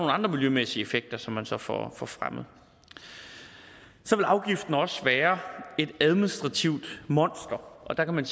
andre miljømæssige effekter som man så får får fremmet afgiften vil også være et administrativt monster og der kan man